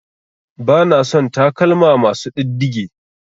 Bana son sa takalma masu ɗiddige.